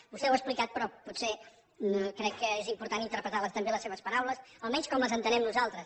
vostè ho ha explicat però potser crec que és important interpretar també les seves paraules almenys com les entenem nosaltres